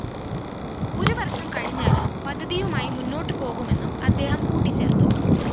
ഒരു വര്‍ഷം കഴിഞ്ഞാലും പദ്ധതിയുമായി മുന്നോട്ട് പോകുമെന്നും അദ്ദേഹം കൂട്ടിച്ചേര്‍ത്തു